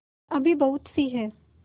अभी बहुतसी हैं